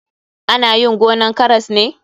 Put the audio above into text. Ana yin gonan karas ne.